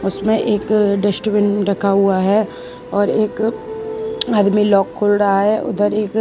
उसमें एक डस्टबिन रखा हुआ है और एक आदमी लॉक खोल रहा है उधर एक --